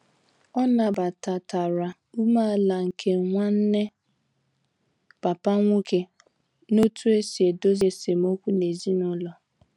O nabatatara umeala nke Nwanne papa nwoke n'otu osi edezo esem okwu n'ezinulo